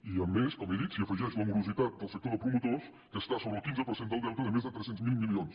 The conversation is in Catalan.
i a més com he dit s’hi afegeix la morositat del sector de promotors que està sobre el quinze per cent del deute de més de tres cents miler milions